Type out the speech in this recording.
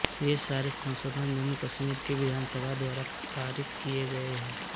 ये सारे संशोधन जम्मूकश्मीर के विधानसभा द्वारा पारित किये गये हैं